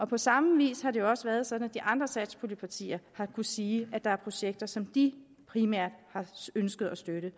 på samme vis har det også været sådan at de andre satspuljepartier har kunnet sige det når var projekter som de primært har ønsket at støtte